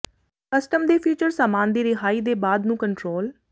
custom ਦੇ feature ਸਾਮਾਨ ਦੀ ਰਿਹਾਈ ਦੇ ਬਾਅਦ ਨੂੰ ਕੰਟਰੋਲ